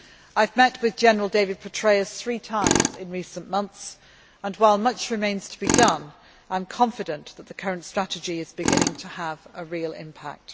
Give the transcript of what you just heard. I have met with General David Petraeus three times in recent months and, while much remains to be done, I am confident that the current strategy is beginning to have a real impact.